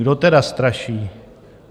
Kdo tedy straší?